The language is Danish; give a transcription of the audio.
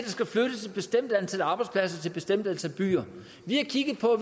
skal flyttes et bestemt antal arbejdspladser til et bestemt antal byer vi har kigget på